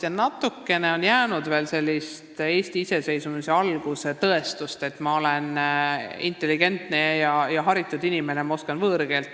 Ja natukene on meil veel alles seda Eesti taasiseseisvumisaja alguse tõestussoovi, et ma olen intelligentne ja haritud inimene, sest ma oskan võõrkeelt.